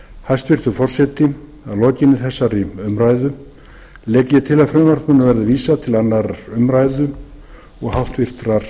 hæstvirtur forseti að lokinni þessari umræðu legg ég til að frumvarpinu verði vísað til annarrar umræðu og háttvirtur